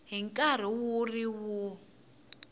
hi nkarhi wu ri wun